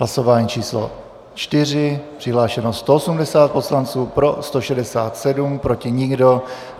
Hlasování číslo 4, přihlášeno 180 poslanců, pro 167, proti nikdo.